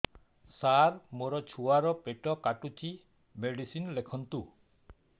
ସାର ମୋର ଛୁଆ ର ପେଟ କାଟୁଚି ମେଡିସିନ ଲେଖନ୍ତୁ